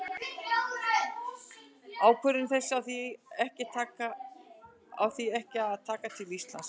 Ákvörðun þessi á því ekki að taka til Íslands.